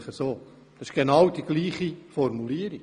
Es handelt sich um die genau gleiche Formulierung.